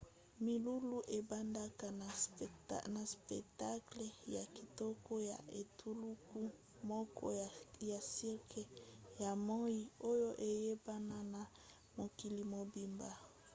milulu ebandaka na spectacle ya kitoko ya etuluku moko ya cirque ya moi oyo eyebana na mokili mobimba